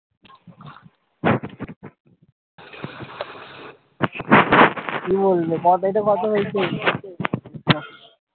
কি বলবে কত হয়েছে